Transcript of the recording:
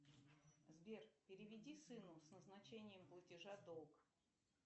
сбер переведи сыну с назначением платежа долг